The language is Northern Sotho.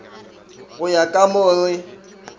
go ya ka mo re